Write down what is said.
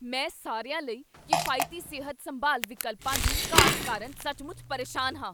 ਮੈਂ ਸਾਰਿਆਂ ਲਈ ਕਿਫਾਇਤੀ ਸਿਹਤ ਸੰਭਾਲ ਵਿਕਲਪਾਂ ਦੀ ਘਾਟ ਕਾਰਨ ਸੱਚਮੁੱਚ ਪਰੇਸ਼ਾਨ ਹਾਂ।